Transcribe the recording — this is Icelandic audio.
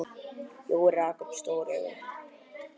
Jói rak upp stór augu.